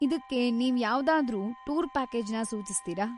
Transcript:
ಇದಕ್ಕೆ ನೀವ್ ಯಾವ್ದಾದ್ರೂ ಟೂರ್‌ ಪ್ಯಾಕೇಜ್‌ನ ಸೂಚಿಸ್ತೀರ?